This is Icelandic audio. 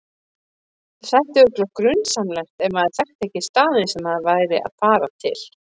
Það þætti örugglega grunsamlegt ef maður þekkti ekki staðinn sem maður var að fara til.